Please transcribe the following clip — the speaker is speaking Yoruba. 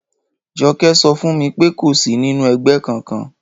Jo̩ké̩ so̩ fún mi pé kò sí nínú e̩gbé̩ kankan